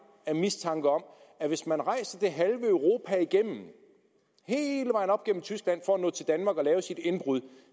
af mistanke om at hvis man rejser det halve europa igennem hele vejen op gennem tyskland for at nå til danmark og lave sit indbrud